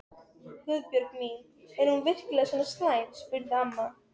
Svona eru karnivölin, allt snýst við.